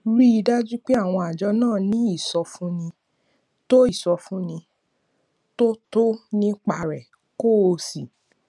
rí i dájú pé àwọn àjọ náà ní ìsọfúnni tó ìsọfúnni tó tọ nípa rẹ kó o sì